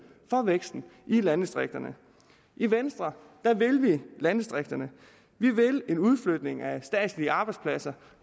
for væksten i landdistrikterne i venstre vil vi landdistrikterne vi vil en udflytning af statslige arbejdspladser